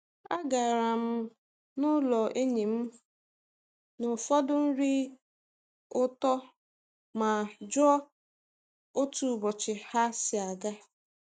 Agara m n'ụlọ enyi m na ụfọdụ nri ụtọ ma jụọ otu ụbọchị ha si aga.